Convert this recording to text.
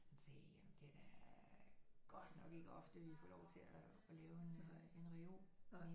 Han sagde jamen det er da godt nok ikke ofte vi får lov til at lave en reol men